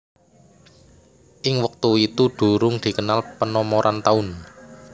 Ing wektu itu durung dikenal penomoran taun